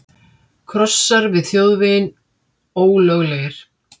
Krossar við þjóðveginn ólöglegir